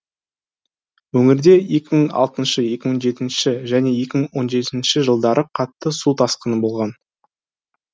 өңірде екі мың он алтыншы екі мың он жетінші және екі мың он жетінші жылдары қатты су тасқыны болған